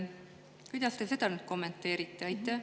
Kuidas te seda kommenteerite?